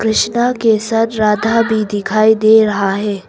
कृष्णा के साथ राधा भी दिखाई दे रहा है।